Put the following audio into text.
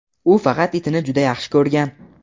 u faqat itini juda yaxshi ko‘rgan.